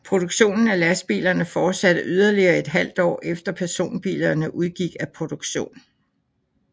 Produktionen af lastbilerne fortsatte yderligere et halvt år efter personbilerne udgik af produktion